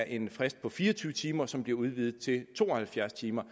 en frist på fire og tyve timer som bliver udvidet til to og halvfjerds timer